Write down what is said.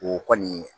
O kɔni